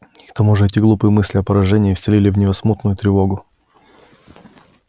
к тому же эти глупые мысли о поражении вселили в неё смутную тревогу